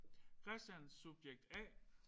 Christian subjekt A